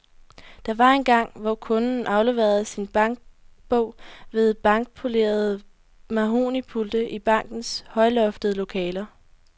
Der var engang, hvor kunden afleverede sin bankbog ved blankpolerede mahognipulte i bankernes højloftede lokaler.